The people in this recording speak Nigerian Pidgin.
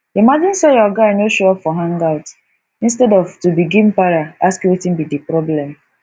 imagine sey your guy no show up for hangout instead of to begin para ask wetin be di problem